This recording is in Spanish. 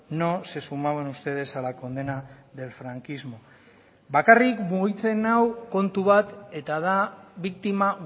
no se sumaban ustedes a la condena del franquismo bakarrik mugitzen nau kontu bat eta da biktima